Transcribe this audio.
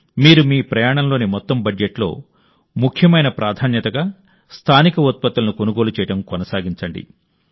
మీరు మీ ప్రయాణంలోని మొత్తం బడ్జెట్లో ముఖ్యమైన ప్రాధాన్యతగా స్థానిక ఉత్పత్తులను కొనుగోలు చేయడం కొనసాగించండి